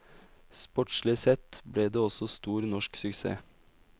Sportslig sett ble det også stor norsk suksess.